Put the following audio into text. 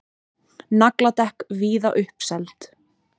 Nagladekk víða uppseld